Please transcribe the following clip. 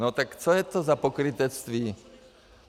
No tak co je to za pokrytectví?